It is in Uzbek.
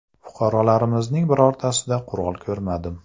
Fuqarolarimizning birortasida qurol ko‘rmadim.